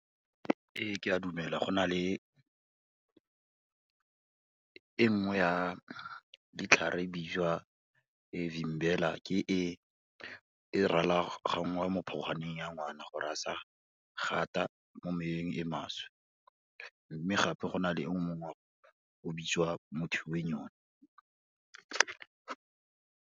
Ee ke a dumela, go na le e nngwe ya ditlhare e bitswa Vimbela, ke e e ralaganngwang mo phogwaneng ya ngwana gore a sa gata mo meweng e maswe, mme gape go na le e nngwe gape o bitswa Muthui Wenyoni.